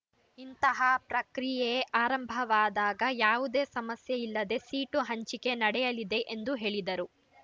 ಇಂತಹ ಪ್ರಕ್ರಿಯೆ ಆರಂಭವಾದಾಗ ಯಾವುದೇ ಸಮಸ್ಯೆಯಿಲ್ಲದೇ ಸೀಟು ಹಂಚಿಕೆ ನಡೆಯಲಿದೆ ಎಂದು ಹೇಳಿದರು